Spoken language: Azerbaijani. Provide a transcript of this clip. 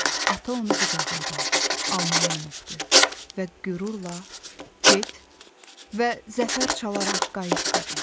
Ata onu qucaqladı, alnından öpdü və qürurla: “Get və zəfər çalaraq qayıt!” dedi.